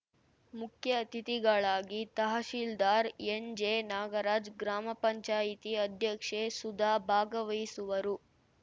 ಮುಖ್ಯ ಅತಿಥಿಗಳಾಗಿ ತಹಶೀಲ್ದಾರ್‌ ಎನ್‌ಜೆನಾಗರಾಜ್‌ ಗ್ರಾಮ ಪಂಚಾಯತಿ ಅಧ್ಯಕ್ಷೆ ಸುಧಾ ಭಾಗವಹಿಸುವರು